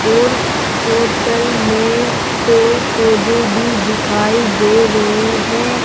और होटल में पेड़ पौधे भी दिखाई दे रहे हैं।